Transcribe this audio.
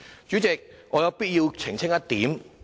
主席，我有必要澄清一點。